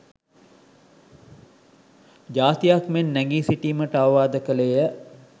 ජාතියක් මෙන් නැගී සිටීමට අවවාද කළේය.